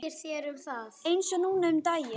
Eins og núna um daginn.